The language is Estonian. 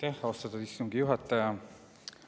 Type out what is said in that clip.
Aitäh, austatud istungi juhataja!